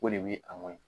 O de bɛ a mɔn ye